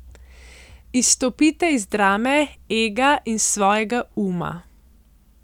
Izstopite iz drame, ega in svojega uma...